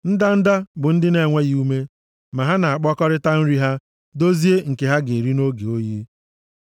Ndanda bụ ndị na-enweghị ume, ma ha na-akpakọta nri ha, dozie nke ha ga-eri nʼoge oyi.